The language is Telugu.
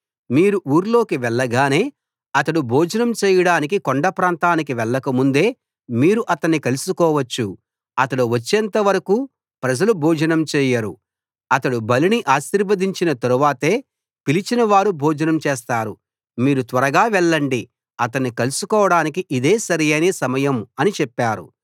మీరు ఊర్లోకి వెళ్ళగానే అతడు భోజనం చేయడానికి కొండ ప్రాంతానికి వెళ్లక ముందే మీరు అతణ్ణి కలుసుకోవచ్చు అతడు వచ్చేంత వరకూ ప్రజలు భోజనం చేయరు అతడు బలిని ఆశీర్వదించిన తరువాతే పిలిచిన వారు భోజనం చేస్తారు మీరు త్వరగా వెళ్ళండి అతణ్ణి కలుసుకోడానికి ఇదే సరైన సమయం అని చెప్పారు